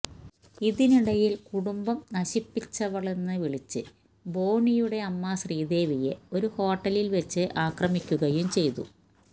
ഇതിനിടയില് കുടുംബം നശിപ്പിച്ചവളെന്നു വിളിച്ച് ബോണിയുടെ അമ്മ ശ്രീദേവിയെ ഒരു ഹോട്ടലില് വച്ച് ആക്രമിക്കുകയും ചെയ്തു